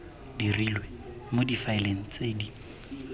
dirilwe mo difaeleng tse di